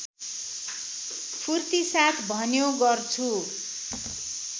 फूर्तिसाथ भन्यो गर्छु